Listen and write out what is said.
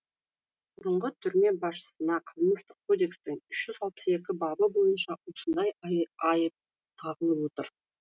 бұрынғы түрме басшысына қылмыстық кодекстің үш жүз алпыс екі бабы бойынша осындай айып тағылып отыр